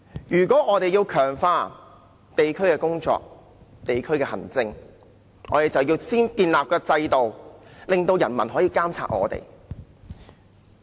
如果我們要強化地區工作、地區行政，就要先建立制度，令人民可以監察我們。